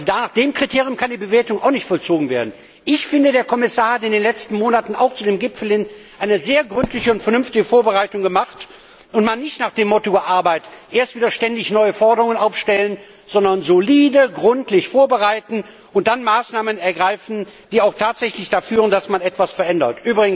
Nach diesem Kriterium kann die Bewertung nicht erfolgen. Ich finde, der Kommissar hat in den letzten Monaten zu dem Gipfel eine sehr gründliche und vernünftige Vorbereitung gemacht. Man hat nicht nach dem Motto gearbeitet, erst wieder ständig neue Forderungen aufstellen, sondern solide, gründlich vorbereiten und dann Maßnahmen ergreifen, die auch tatsächlich dazu führen, dass man etwas verändert.